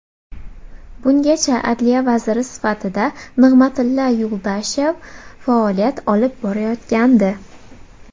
Bungacha Adliya vaziri sifatida Nig‘matilla Yuldashev faoliyat olib borayotgandi.